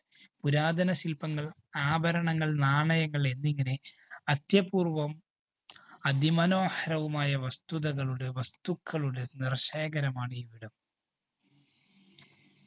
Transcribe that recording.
പുരാതന ശില്‍പ്പങ്ങള്‍, ആഭരണങ്ങള്‍, നാണയങ്ങള്‍ എന്നിങ്ങനെ അത്യപൂര്‍വ്വം അതിമനോഹരവുമായ വസ്തുതകളുടെ, വസ്തുക്കളുടെ നിറശേഖരമാണ് ഇവിടം.